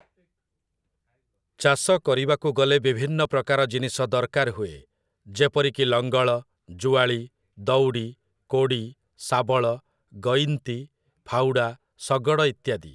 ଚାଷ କରିବାକୁ ଗଲେ ବିଭିନ୍ନ ପ୍ରକାର ଜିନିଷ ଦରକାର ହୁଏ , ଯେପରିକି, ଲଙ୍ଗଳ, ଜୁଆଳି, ଦଉଡ଼ି, କୋଡ଼ି, ଶାବଳ, ଗଇନ୍ତି, ଫାଉଡ଼ା, ଶଗଡ଼ ଇତ୍ୟାଦି ।